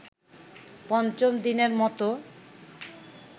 পঞ্চম দিনের মতো